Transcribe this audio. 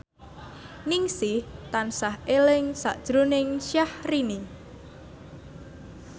Ningsih tansah eling sakjroning Syahrini